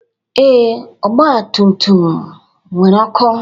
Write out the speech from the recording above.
Ee, ọgba tum tum m nwere ọkụ.